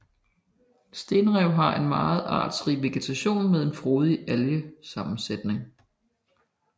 Stenrevene har en meget artsrig vegetation med en frodig algesammensætning